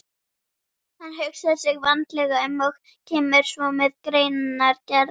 Hann hugsar sig vandlega um og kemur svo með greinargerð.